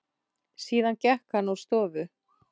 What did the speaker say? Síðan gekk hann úr stofu.